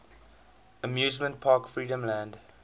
amusement park freedomland